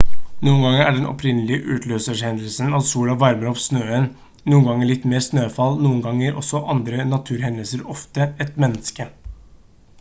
noen ganger er den opprinnelige utløserhendelsen at sola varmer opp snøen noen ganger litt mer snøfall noen ganger også andre naturhendelser ofte et menneske